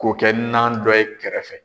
K'o kɛ nan dɔ ye kɛrɛfɛ.